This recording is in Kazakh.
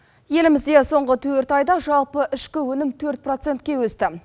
елімізде соңғы төрт айда жалпы ішкі өнім төрт процентке өсті